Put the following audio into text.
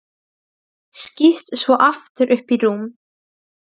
Þjóðar, viltu hoppa með mér?